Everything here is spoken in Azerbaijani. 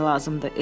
Emil dedi.